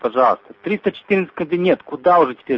пожалуйста триста четырнадцатый кабинет куда уже